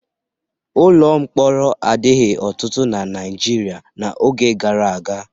Ụlọ mkpọrọ adịghị ọtụtụ na Naịjirịa n'oge gara aga.